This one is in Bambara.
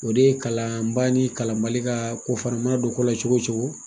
O de ye kalan baa ni kalan bali ka ko o mana don ko la cogo o cogo.